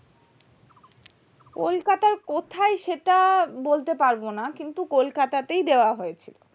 কলকাতার কোথায় সেটা বলতে পারবো না কিন্তু কলকাতা তেই দেওয়া হয়েছে